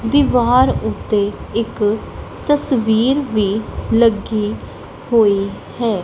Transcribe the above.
ਦੀਵਾਰ ਓੱਤੇ ਇੱਕ ਤਸਵੀਰ ਵੀ ਲੱਗੀ ਹੋਈ ਹੈ।